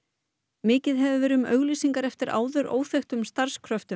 mikið hefur verið um auglýsingar eftir áður óþekktum